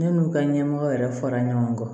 Ne n'u ka ɲɛmɔgɔ yɛrɛ fara ɲɔgɔn kan